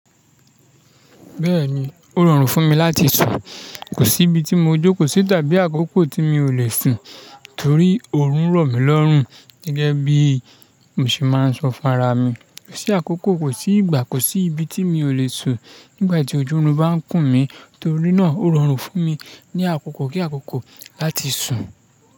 Bẹ́ẹ̀ni, ó rọrùn fún mi láti sùn, kò sí ibi tí mo jókòó sí tàbí àkókò tí mi ò le sùn torí òórùn rọ̀ mí lọ́rùn gẹ́gẹ́ bí mo ṣe máa ń sọ fún ara mi. Kò sí àkókò, kò sí ìgbà, kò sí ibi tí mi ò le sùn nígbà tí ojú orun mi bá ń kùn mí torí náà ó rọrùn fún mi ní àkókò kí àkókò láti sùn.